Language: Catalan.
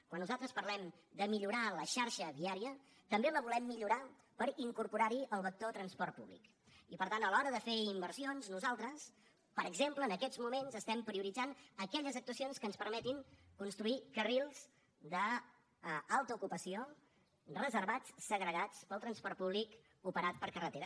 quan nosaltres parlem de millorar la xarxa viària també la volem millorar per incorporar hi el vector transport públic i per tant a l’hora de fer inversions nosaltres per exemple en aquests moments estem prioritzant aquelles actuacions que ens permetin construir carrils d’alta ocupació reservats segregats per al transport públic operat per carretera